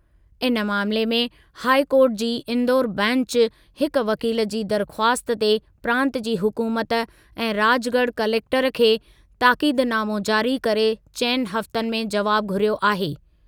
इन मामिले में हाइ कोर्टु जी इंदौर बैंचु हिकु वकील जी दरख़्वास्त ते प्रांत जी हुक़ूमत ऐं राजगढ़ कलेक्टर खे ताकीदनामो जारी करे चइनि हफ़्तनि में जवाब घुरियो आहे।